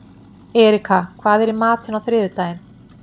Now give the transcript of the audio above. Erika, hvað er í matinn á þriðjudaginn?